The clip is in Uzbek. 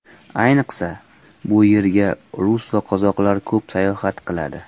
Ayniqsa, bu yerga rus va qozoqlar ko‘p sayohat qiladi.